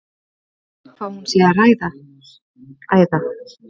Spyr hvað hún sé að æða.